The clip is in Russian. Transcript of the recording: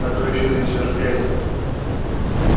а то ещё нанесёшь грязи